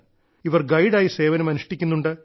ഇവർ ഗൈഡ് ആയി സേവനം അനുഷ്ഠിക്കുന്നുണ്ട്